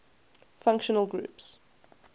functional groups